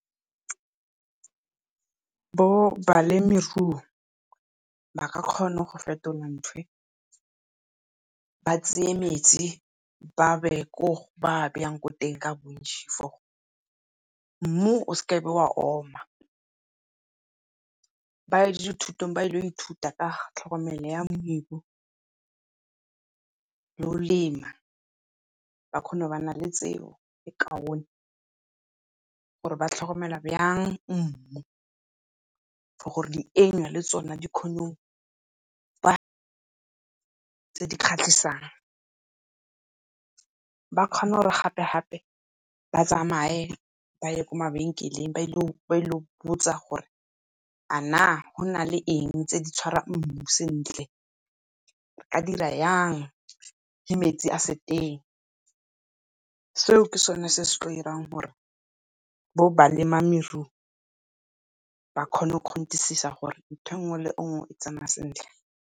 Bo balemirui ba ka kgona go fetola nthwe, ba tsaya metsi ba a bee ko ba a bayang ko teng ka bontšhi for mmu o seke wa oma. Ba ya dithutong ba ye go ithuta ka tlhokomelo ya mebu le go lema, ba kgone go bana le tseo le kaone gore ba tlhokomela yang mmu. For gore dienywa le tsona di kgone tse di kgatlhasang ba kgone gore gape-gape ba tsamaye, ba ye ko mabenkeleng, ba ye go botsa gore a na go na le eng tse di tshwarang mmu sentle. Nka dira jang ge metsi a se teng, seo ke sone se se tla dirang gore bo balemirui ba kgone gore ntho e nngwe le e nngwe e tsamaya sentle.